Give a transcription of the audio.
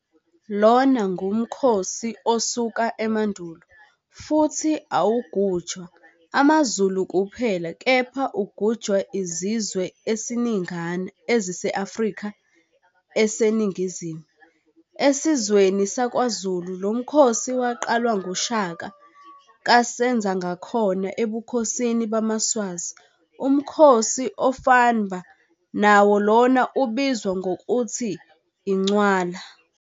Lona ngumkhosi osuka emandulo, futhi awugujwa amazulu kuphela kepha ugujwa izizwe esiningana ezise-Afrika eseNingizimu. Esizweni sakwaZulu lomkhosi waqalwa nguShaka kaSenzangakhona Ebukhosini bamaSwazi umkhosi ofanba nawo lona ubizwa ngokuthi Incwala.